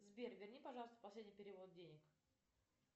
сбер верни пожалуйста последний перевод денег